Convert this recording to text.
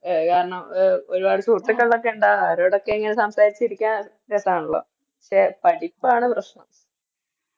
അത് കാരണം എ ഒരുപാട് സുഹൃത്തുക്കളൊക്കെ ഇണ്ടാവല്ലോ അവരോടൊക്കെ ഇങ്ങനെ സംസാരിച്ചിരിക്കാൻ രസാണല്ലോ പക്ഷെ പാടിപ്പാണ് പ്രശ്നം